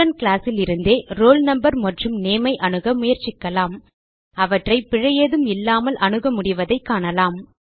student class லிருந்தே roll no மற்றும் name ஐ அணுக முயற்சிக்கலாம் அவற்றை பிழை ஏதும் இல்லாமல் அணுக முடிவதைக் காணலாம்